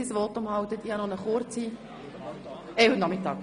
– Herrgott, ich meine natürlich heute Nachmittag.